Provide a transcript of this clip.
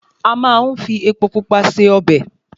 A máa ń fi epo Pupa se ọbẹ̀